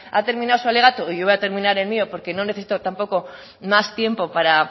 ha terminado su alegato y yo voy a terminar el mío porque no necesito tampoco más tiempo para